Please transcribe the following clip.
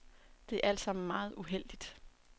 Det er alt sammen meget uheldigt.